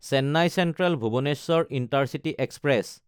Chennai চেন্ট্ৰেল–ভুৱনেশ্বৰ intercity express